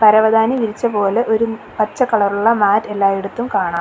പരവതാനി വിരിച്ച പോലെ ഒരു പച്ച കളറുള്ള മാറ്റ് എല്ലായിടത്തും കാണാം.